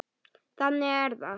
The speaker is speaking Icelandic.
Þannig er það.